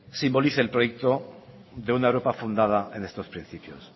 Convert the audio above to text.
simbolice el proyecto de una europa fundada en estos principios